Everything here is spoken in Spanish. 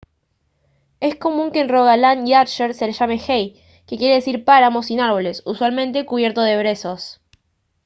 es común que en rogaland y agder se les llame hei que quiere decir páramo sin árboles usualmente cubierto de brezos